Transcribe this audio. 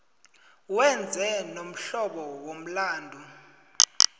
wenze lomhlobo womlandu